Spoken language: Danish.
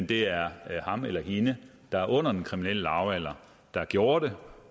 det er ham eller hende der er under den kriminelle lavalder der gjorde det